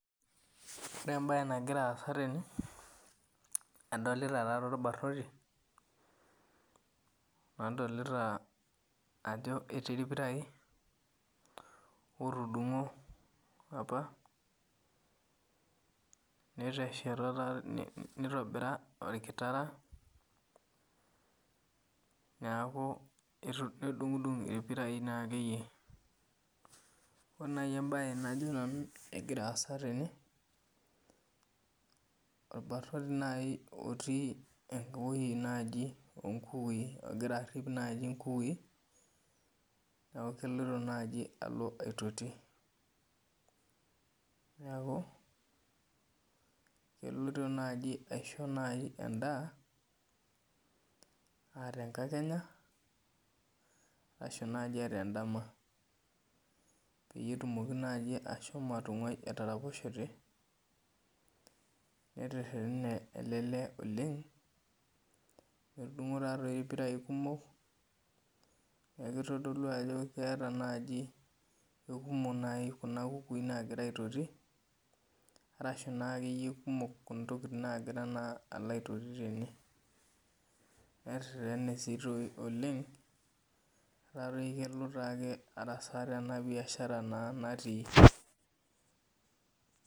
Ore ebae nagira aasa tene, adolita tatoi orbarnoti, nadolita ajo etii irpirai, otudung'o apa, netesheta tatoi nitobira orkitara. Neeku nedung'dung' irpirai nakeyie. Ore nai ebae najo nanu kegira aasa tene, orbanoti nai otii ewoi naji onkukui, egira arrip nai inkukui, neeku keloito aitoti. Neeku, eloito naji aisho nai endaa, ah tenkakenya, ashu naji ah tedama. Peyie etumoki naji ashomo atung'ai etaraposhete, neterrene ele lee oleng, etudung'o tatoi irpirai kumok, neeku kitodolu ajo keeta naji kekumok naji kuna kukui nagira aitoti, arashu nakeyie intokiting nagira naa alo aitoti tene. Neterrene si toi oleng, etaa toi kelo taake arasaa teba biashara naa natii.